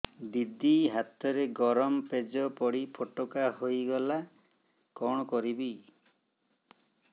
ଦିଦି ହାତରେ ଗରମ ପେଜ ପଡି ଫୋଟକା ହୋଇଗଲା କଣ କରିବି